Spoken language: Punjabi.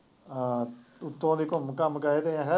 ਹਾਂ ਉੱਤੋਂ ਦੀ ਘੁੰਮ ਘੰਮ ਕੇ ਗਏ ਦੇ